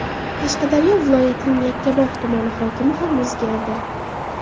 Qashqadaryo viloyatining Yakkabog‘ tumani hokimi ham o‘zgardi.